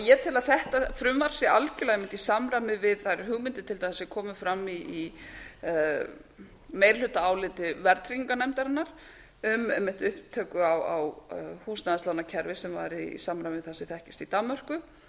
ég tel að þetta frumvarp sé algjörlega einmitt i samræmi við þær hugmyndir til dæmis sem komu fram í meirihlutaáliti verðtryggingarnefndarinnar um einmitt upptöku á húsnæðislánakerfi sem væri í samræmi við það sem þekkist í danmörku